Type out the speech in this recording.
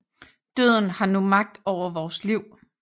Døden har nu magt over vores liv